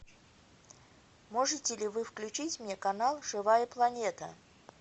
можете ли вы включить мне канал живая планета